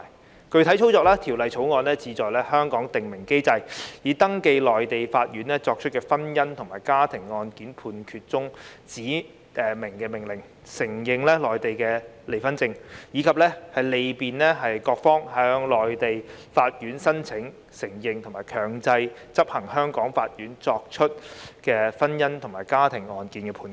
在具體操作上，《條例草案》是要在香港訂明機制，以登記內地法院作出的婚姻或家庭案件判決中的指明命令，承認內地離婚證，以及利便各方向內地法院申請承認和強制執行由香港法院作出的婚姻與家庭案件判決。